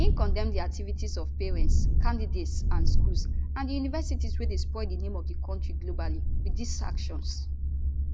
im condemn di activities of parents candidates and schools and di universities wey dey spoil di name of di kontri globally wit dis actions